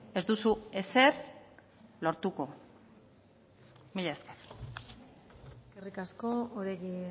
ez duzu ezer lortuko mila esker eskerrik asko oregi